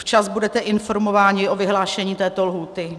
Včas budete informováni o vyhlášení této lhůty.